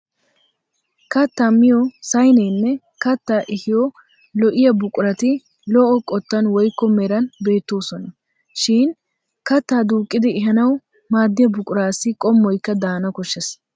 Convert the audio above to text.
Kattaa miyo sayineenne kattaa ehiyo lo'iya buqurati lo'o qottan woykko meran beettoosona. Shi katta duuqqidi ehanawu maaddiya buquraassi qum'oyikka daana koshshes.